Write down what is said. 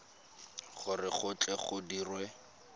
gore go tle go dirwe